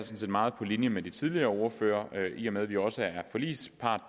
set meget på linje med de tidligere ordførere i og med at vi også er forligspart